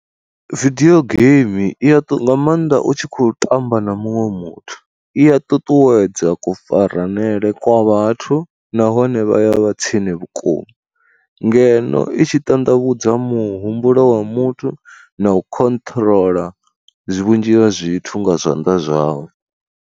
Vidio game i ya ṱuwa nga maanḓa u tshi khou tamba na muṅwe muthu i a ṱuṱuwedza kufaranele kwa vhathu nahone vha ya vha tsini vhukuma, ngeno i tshi ṱanḓavhudza muhumbulo wa muthu na u khonṱhoroḽa zwi vhunzhi ha zwithu nga zwanḓa zwau.